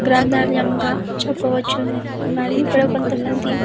గ్రంథాలయంగా చెప్పవచ్చును మరి ఇక్కడ కొంతమంది --